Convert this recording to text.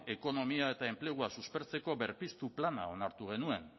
ekonomia eta enplegua suspertzeko berpiztu plana onartu genuen